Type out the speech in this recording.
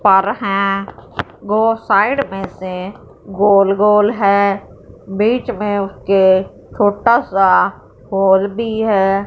पर हैं वो साइड में से गोल गोल है बीच में उसके छोटा सा होल भी है।